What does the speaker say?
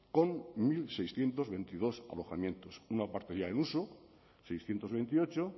con mil seiscientos veintidós alojamientos una parte ya en uso seiscientos veintiocho